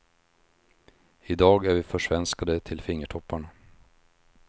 I dag är vi försvenskade till fingertopparna.